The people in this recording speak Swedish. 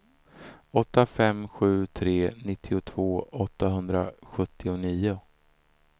åtta fem sju tre nittiotvå åttahundrasjuttionio